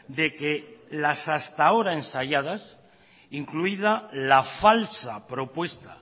de que las hasta ahora ensayadas incluida la falsa propuesta